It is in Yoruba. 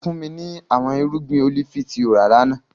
Fun mi ni awọn irugbin olifi ti o ra lana!